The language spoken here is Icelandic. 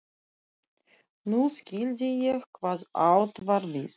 Nú skildi ég hvað átt var við.